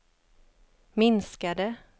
minskade